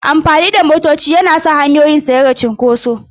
Amfani da bas-bas yana sa hanyoyin su rage cunkoso.